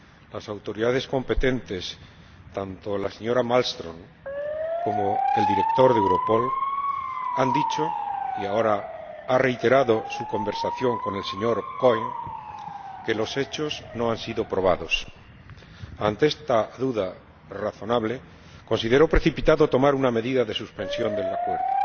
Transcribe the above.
Las autoridades competentes, tanto la señora Malmström como el director de Europol han dicho —y ahora ha reiterado su conversación con el señor Cohen— que los hechos no han sido probados. Ante esta duda razonable, considero precipitado tomar una medida de suspensión del Acuerdo.